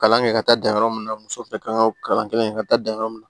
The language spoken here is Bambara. Kalan kɛ ka taa dan yɔrɔ min na muso fɛnɛ ka kan ka kalan kɛ ka taa dan yɔrɔ min na